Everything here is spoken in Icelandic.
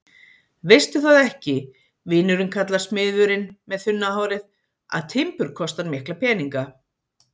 Veistu það ekki, vinurinn kallar smiðurinn með þunna hárið, að timbur kostar mikla peninga?